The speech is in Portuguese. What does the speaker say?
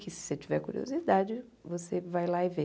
Que se você tiver curiosidade, você vai lá e vê.